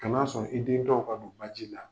Kana sɔn i den dɔ o ka don ba ji la.